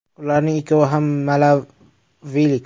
Ularning ikkovi ham malavilik.